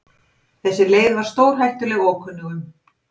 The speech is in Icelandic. Þessi leið var stórhættuleg ókunnugum.